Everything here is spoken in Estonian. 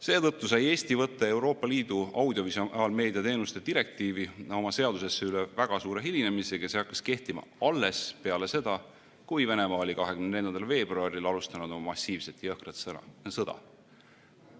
Seetõttu sai Eesti võtta Euroopa Liidu audiovisuaalmeedia teenuste direktiivi oma seadusesse üle väga suure hilinemisega ja see hakkas kehtima alles peale seda, kui Venemaa oli 24. veebruaril alustanud massiivset jõhkrat sõda.